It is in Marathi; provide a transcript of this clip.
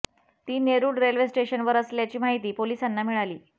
ती नेरुळ रेल्वे स्टेशनवर असल्याची माहिती पोलिसांना मिळाली